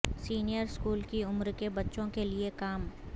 senior school کی عمر کے بچوں کے لئے کام